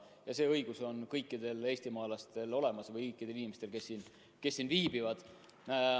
Ja see õigus on kõikidel eestimaalastel olemas ja ka teiste riikide inimestel, kes siin viibivad.